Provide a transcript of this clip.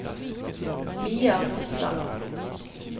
Mia Rosland